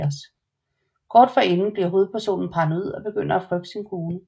Kort efter bliver hovedpersonen paranoid og begynder at frygte sin kone